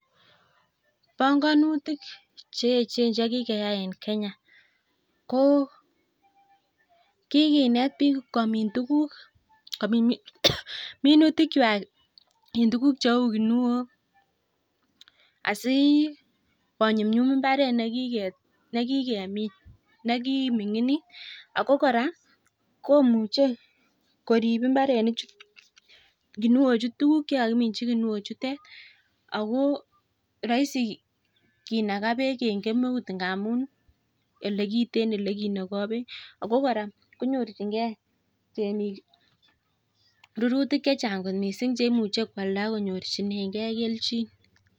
Ponganutik cheechen che kikeyai eng Kenya ko kikinet biik komin minutikwai kominchi tukuk cheu kinuok. Asi konyumnyum mbaret nekikominin'git ako kora komuchei korip mbarenichu, kinuochutok, tukuk chekikiminchi kinuo chutet. Ako raisi kenagoi beek eng kemeut ngamun ole kiteen ole kenogoi beek. Ako kora konyorchingei temik rurutiok che chang kot mising che imuchi koalda akonyorchinegei kelchin.